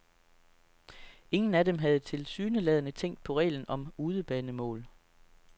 Ingen af dem havde tilsyneladende tænkt på reglen om udebanemål.